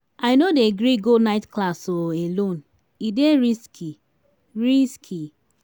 i no dey gree go night class um alone e dey risky. risky.